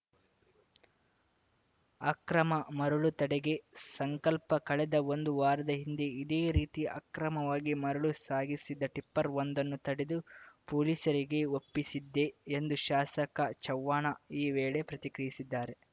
ಅಕ್ರಮ ಮರಳು ತಡೆಗೆ ಸಂಕಲ್ಪ ಕಳೆದ ಒಂದು ವಾರದ ಹಿಂದೆ ಇದೇ ರೀತಿ ಅಕ್ರಮವಾಗಿ ಮರಳು ಸಾಗಿಸಿದ್ದ ಟಿಪ್ಪರ್‌ವೊಂದನ್ನು ತಡೆದು ಪೊಲೀಸರಿಗೆ ಒಪ್ಪಿಸಿದ್ದೆ ಎಂದು ಶಾಸಕ ಚವ್ಹಾಣ ಈ ವೇಳೆ ಪ್ರತಿಕ್ರಿಯಿಸಿದ್ದಾರೆ